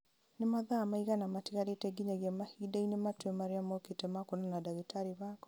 nĩ mathaa maigana matigarĩte nginyagia mahinda-inĩ matue marĩa mookĩte ma kwonana na ndagĩtarĩ wakwa